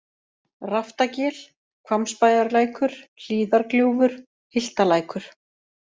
Raftagil, Hvammsbæjarlækur, Hlíðargljúfur, Hyltalækur